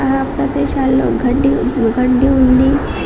అ ప్రదేశాల్లో గడ్డి గడ్డి ఉంది.